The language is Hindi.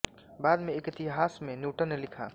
बाद में एक इतिहास में न्यूटन ने लिखा